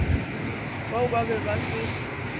bao ba be ba se